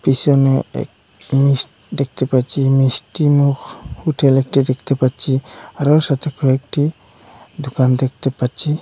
পিসনে এক মিস দেখতে পাচ্ছি মিষ্টি মুখ হোটেল একটি দেখটে পাচ্চি আরও সাথে কয়েকটি দোকান দেখতে পাচ্চি।